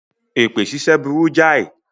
Èpè ṣíṣẹ́ burú jáì.